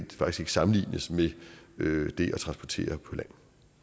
sammenlignes med det at transportere på land